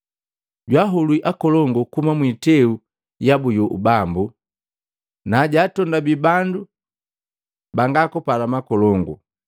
Jwahulwi akolongu kuhuma mwiteu yabu yu ubambu, na jatondabi bandu bangakupala makolongu.